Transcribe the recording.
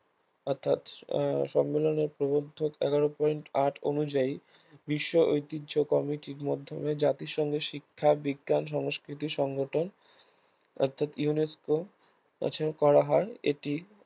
অর্থাৎ আহ সম্মেলনের প্রবুদ্ধক এগার point আট অনুযায়ী বিশ্ব ঐতিহ্য কমিটির মাধ্যমে জাতিসংঘ শিক্ষা, বিজ্ঞান, সংস্কৃতি সংগঠন অর্থাৎ UNESCO করা হয় এটি